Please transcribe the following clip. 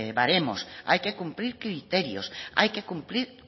baremos hay que cumplir criterios hay que cumplir